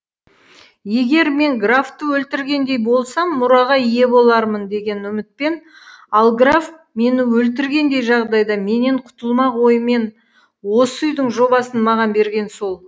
егер мен графты өлтіргендей болсам мұраға ие болармын деген үмітпен ал граф мені өлтіргендей жағдайда менен құтылмақ оймен осы үйдің жобасын маған берген сол